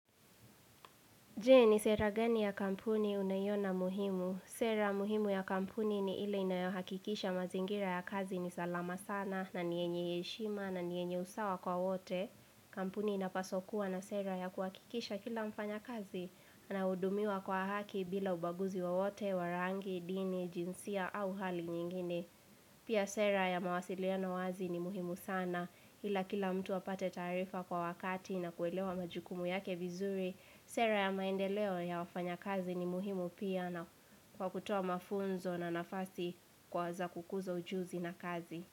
Je ni sera gani ya kampuni unaiona muhimu. Sera muhimu ya kampuni ni ile inayohakikisha mazingira ya kazi ni salama sana na ni yenye heshima na ni yenye usawa kwa wote. Kampuni inapaswa kuwa na sera ya kuhakikisha kila mfanyakazi ana hudumiwa kwa haki bila ubaguzi wowote, warangi, dini, jinsia au hali nyingine. Pia sera ya mawasiliano wazi ni muhimu sana ila kila mtu apate taarifa kwa wakati na kuelewa majukumu yake vizuri. Sera ya maendeleo ya wafanyakazi ni muhimu pia na kwa kutoa mafunzo na nafasi kwa za kukuza ujuzi na kazi.